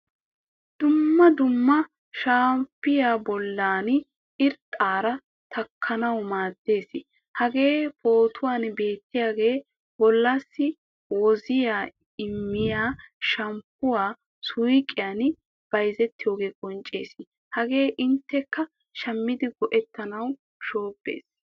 Dumma dumma shamppoy bolla irxxaraa taakkanawu maadees. Hagee pootuwan beetiyage bollassi woziya immiya shammppuwaa suuqqiyan bayzziyoga qoncciissees. Hagee innteka shammidi goettanawu shobbayiis.